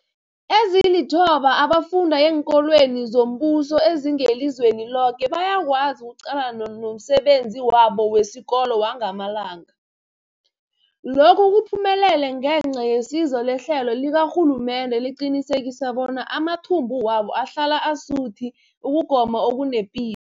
Ezilithoba abafunda eenkolweni zombuso ezingelizweni loke bayakwazi ukuqalana nomsebenzi wabo wesikolo wangamalanga. Lokhu kuphumelele ngenca yesizo lehlelo likarhulumende eliqinisekisa bona amathumbu wabo ahlala asuthi ukugoma okunepi